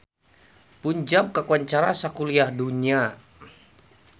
Punjab kakoncara sakuliah dunya